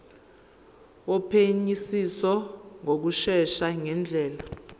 wophenyisiso ngokushesha ngendlela